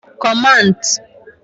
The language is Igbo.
Commands